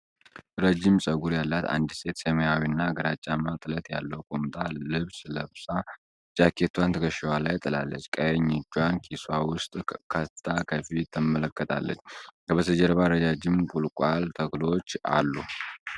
ረጅም ፀጉር ያላት አንዲት ሴት ሰማያዊ እና ግራጫማ ጥለት ያለው ቁምጣ ልብስ ለብሳ፣ ጃኬቷን ትከሻዋ ላይ ጥላለች። ቀኝ እጇን ኪሷ ውስጥ ከትታ ከፊት ትመለከታለች። ከበስተጀርባ ረዣዥም ቁልቋል ተክሎች አሉ።